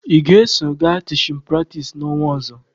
Ị ga-eso gaa tichin pratis n'ọnwa ọzọ!